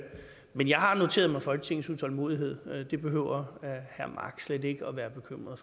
men jeg har noteret mig folketingets utålmodighed det behøver herre jacob mark slet ikke at være bekymret